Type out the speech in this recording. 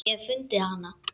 Ég hef fundið hana.